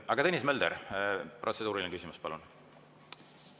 Aga Tõnis Mölder, protseduuriline küsimus, palun!